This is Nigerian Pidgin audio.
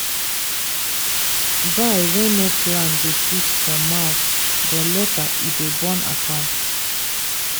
buy wey no plan dey sweet for mouth but later e dey burn account.